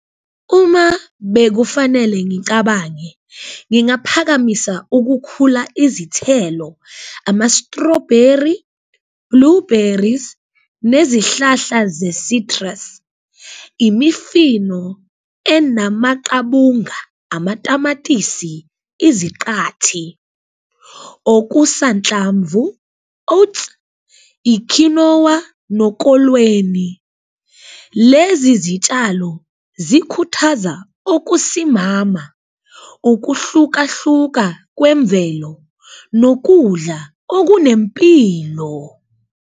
Uma bekufanele ngicabange ngingaphakamisa ukukhula izithelo ama-strawberry, blueberries nezihlahla ze-citrus, imifino enamaqabunga amatamatisi, iziqathi, okusanhlamvu, oats, ikhinowa nokolweni. Lezi zitshalo zikhuthaza okusimama, ukuhlukahluka kwemvelo nokudla okunempilo.